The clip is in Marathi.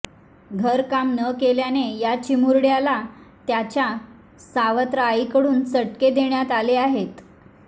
घरकाम न केल्याने या चिमुरड्याला त्याच्या सावत्र आईकडून चटके देण्यात आले आहेत